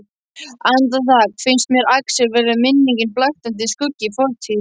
Andartak finnst mér Axel vera minning, blaktandi skuggi í fortíð.